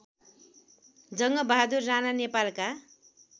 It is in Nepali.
जङ्गबगादुर राणा नेपालका